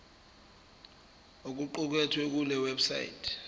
okuqukethwe kule website